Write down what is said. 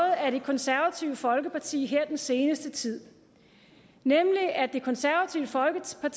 af det konservative folkeparti her i den seneste tid nemlig at det konservative folkeparti